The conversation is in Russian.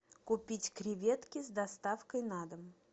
купить креветки с доставкой на дом